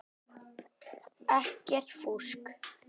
Ekkert fúsk.